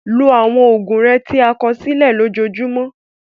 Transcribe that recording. Lo àwọn oògùn rẹ tí a kọ sílẹ̀ lójoojúmọ́.